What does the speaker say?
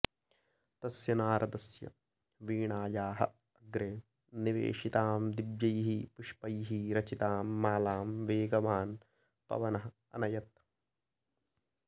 तस्य नारदस्य वीणायाः अग्रे निवेशितां दिव्यैः पुष्पैः रचितां मालां वेगवान् पवनः अनयत्